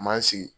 Man sigi